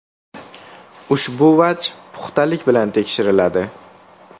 Ushbu vaj puxtalik bilan tekshiriladi.